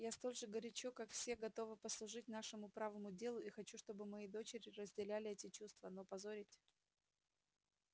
я столь же горячо как все готова послужить нашему правому делу и хочу чтобы мои дочери разделяли эти чувства но позорить